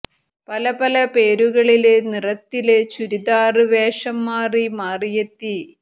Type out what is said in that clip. പല പല പേരുകളില് നിറത്തില് ചുരിദാര് വേഷം മാറി മാറിയെത്തി